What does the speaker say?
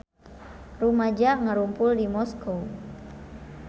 Rumaja ngarumpul di Moskow